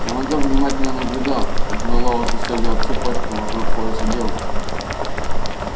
командор внимательно наблюдал как мэллоу застёгивал цепочку вокруг пояса девушки